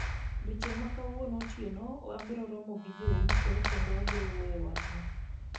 Odiechieng' ma kawuono otieno abiro romo gi jouso kendo wabiro wuoyo ewi wachni.